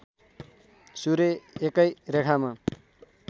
सूर्य एकै रेखामा